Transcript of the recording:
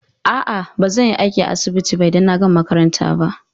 A'a, ba zan yi aiki a asibiti ba idan na gama makaranta ba.